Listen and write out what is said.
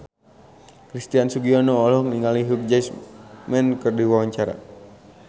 Christian Sugiono olohok ningali Hugh Jackman keur diwawancara